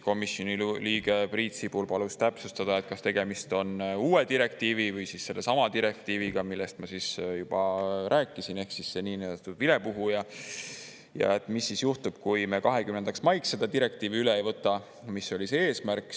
Komisjoni liige Priit Sibul palus täpsustada, kas tegemist on uue direktiivi või sellesama direktiiviga, millest ma juba rääkisin, ehk siis see niinimetatud vilepuhuja, ja mis siis juhtub, kui me 20. maiks seda direktiivi üle ei võta, mis oli see eesmärk.